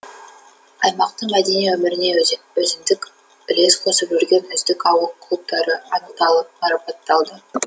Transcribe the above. аймақтың мәдени өміріне өзіндік үлес қосып жүрген үздік ауыл клубтары анықталып марапатталды